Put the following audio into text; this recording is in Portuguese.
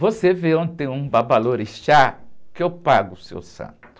Você vê onde tem um babalorixá que eu pago o seu santo.